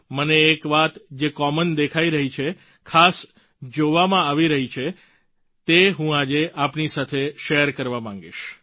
મને એક વાત જે કોમન દેખાઈ રહી છે ખાસ જોવામાં આવી રહી છે તે હું આજે આપની સાથે શેર કરવા માંગીશ